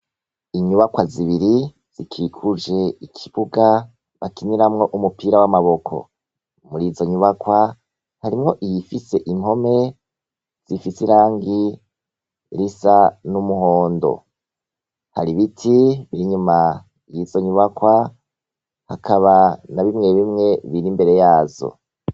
Inyubakwa zibiri zikikuje ikibuga, kiberamwo umupira w'amaboko. Muri izo nyubakwa harimwo iyifise impome zifise irangi risa n'umuhondo. Hari ibiti inyuma y'izo nyubakwa hakaba na bimwe bimwe biri imbere yazo.